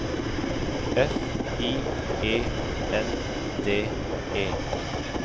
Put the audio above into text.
F I E N D E